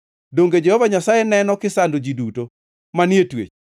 Donge Jehova Nyasaye neno kisando ji duto manie twech,